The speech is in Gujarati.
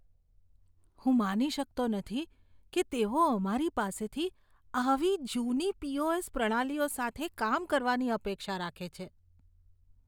હું માની શકતો નથી કે તેઓ અમારી પાસેથી આવી જૂની પી.ઓ.એસ. પ્રણાલીઓ સાથે કામ કરવાની અપેક્ષા રાખે છે.